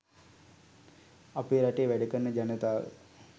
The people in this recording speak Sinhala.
අපේ රටේ වැඩකරන ජනතාව